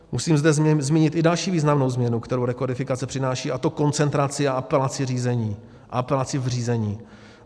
Musím zde zmínit i další významnou změnu, kterou rekodifikace přináší, a to koncentraci a apelaci v řízení.